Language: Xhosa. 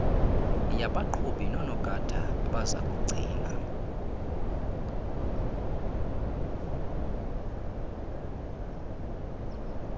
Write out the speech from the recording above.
yabaqhubi nonogada abazakugcina